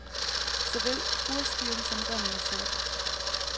Såvel urskiven som remmen er sort.